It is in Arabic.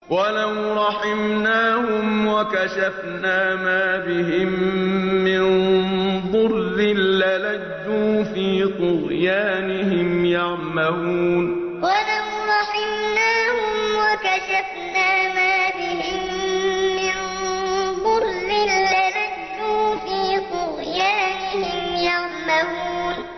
۞ وَلَوْ رَحِمْنَاهُمْ وَكَشَفْنَا مَا بِهِم مِّن ضُرٍّ لَّلَجُّوا فِي طُغْيَانِهِمْ يَعْمَهُونَ ۞ وَلَوْ رَحِمْنَاهُمْ وَكَشَفْنَا مَا بِهِم مِّن ضُرٍّ لَّلَجُّوا فِي طُغْيَانِهِمْ يَعْمَهُونَ